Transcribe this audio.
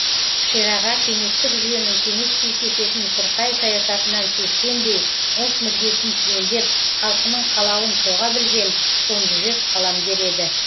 шераға кеңестік жүйенің кеңеспей кесетін сұрқай саясатынан сескенбей ұлт мүддесін түгендеп халқының қалауын соға білген сомжүрек қаламгер еді